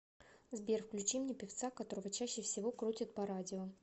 сбер включи мне певца которого чаще всего крутят по радио